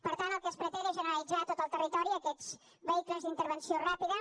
per tant el que es pretén és generalitzar a tot el territori aquests vehicles d’intervenció ràpida